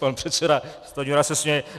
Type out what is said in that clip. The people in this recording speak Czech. Pan předseda Stanjura se směje.